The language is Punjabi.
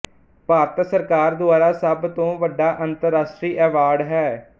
ਭਾਰਤ ਸਰਕਾਰ ਦੁਆਰਾ ਸਭ ਤੋਂ ਵੱਡਾ ਅੰਤਰਰਾਸ਼ਟਰੀ ਐਵਾਰਡ ਹੈ